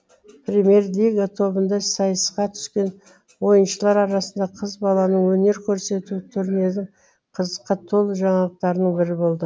премьер лига тобында сайысқа түскен ойыншылар арасында қыз баланың өнер көрсетуі турнирдің қызыққа толы жаңалықтарының бірі болды